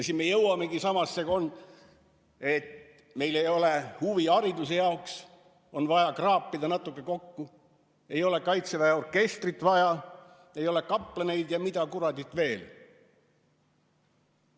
Siis me jõuamegi samasse kohta, et meil ei ole raha huvihariduse jaoks, on vaja kraapida natuke kokku, ei ole Kaitseväe orkestrit vaja, ei ole kaplaneid vaja ja mida kuradit veel.